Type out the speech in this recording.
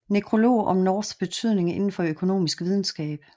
Nekrolog om Norths betydning indenfor økonomisk videnskab